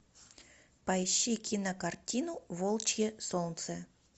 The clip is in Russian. поищи кинокартину волчье солнце